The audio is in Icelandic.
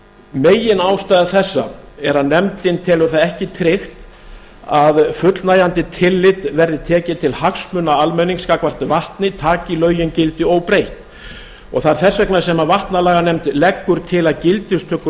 meginástæða þessa er að nefndin telur það ekki tryggt að fullnægjandi tillit verði tekið til hagsmuna almennings gagnvart vatni taki lögin gildi óbreytt það er þess vegna sem vatnalaganefnd leggur til að gildistöku